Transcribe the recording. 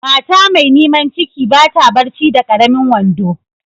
Mata mai niman ciki ba ta barci da karemin wando.